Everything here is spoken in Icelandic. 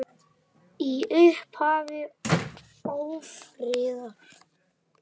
Í upphafi ófriðar